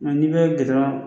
Nka n'i bɛ gidɔrɔn